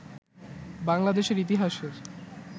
বাংলাদেশের ইতিহাসের